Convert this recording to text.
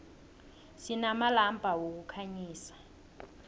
sinamalampa wokukhanyisa